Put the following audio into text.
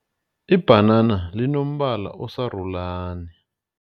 Ibhanana linombala osarulani.